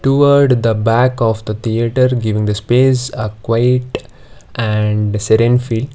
toword the back of the theatre giving the space a quiet and sedan field.